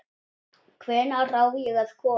Hvenær á ég að koma?